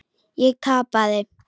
Ég tapaði.